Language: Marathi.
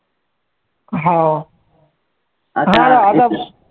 हा